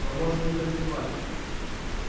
но можем ли мы рисковать